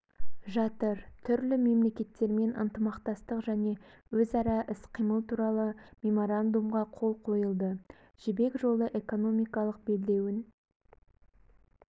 жатыр түрлі мемлекеттермен ынтымақтастық және өзара іс-қимыл туралы меморандумға қол қойылды жібек жолы экономикалық белдеуін